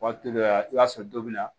Waati dɔ la i b'a sɔrɔ don min na